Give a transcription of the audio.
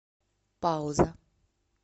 пауза